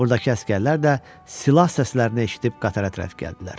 Buradakı əsgərlər də silah səslərini eşidib qatara tərəf gəldilər.